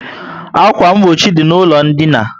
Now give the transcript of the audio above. Akwa mgbochi dị na ụlọ dina